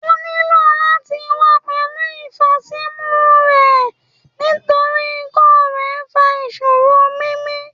O nilo lati wa pẹlu ifasimu rẹ nitori ikọ-fèé fa iṣoro mimi